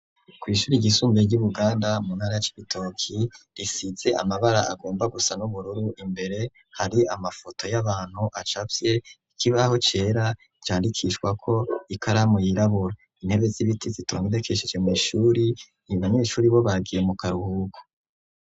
Kw'ishure ry'isumbuye ry'ibuganda muntara Cibitoke risize amabara agomba gusa n'ubururu imbere hari amafoto y'abantu acafye ikibaho cera candikishwa ko ikaramu yirabura intebe z'ibiti zitonedekesheje mw'ishuri abanyeshuri bo bagiye mu karuhuko.